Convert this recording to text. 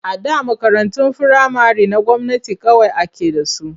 A da makarantun firamare na gwamnati kawai ake da su.